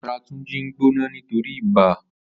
Àrà Tunji n gbónà nitóri ibà